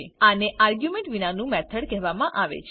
આને આર્ગ્યુમેન્ટ વિના નું મેથડ કહેવામાં આવે છે